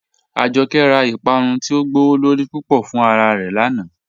Ajọkẹ̀ rá Ìpàrún ti o gbọwọ́lorí púpọ̀ fún ara rẹ́ lánà.